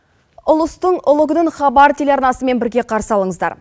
ұлыстың ұлы күнін хабар телеарнасымен бірге қарсы алыңыздар